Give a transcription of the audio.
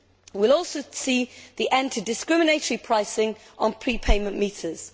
We will also see the end to discriminatory pricing on prepayment meters.